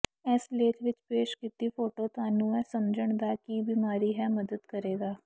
ਇਸ ਲੇਖ ਵਿਚ ਪੇਸ਼ ਕੀਤਾ ਫ਼ੋਟੋ ਤੁਹਾਨੂੰ ਇਹ ਸਮਝਣ ਦਾ ਕੀ ਬਿਮਾਰੀ ਹੈ ਮਦਦ ਕਰੇਗਾ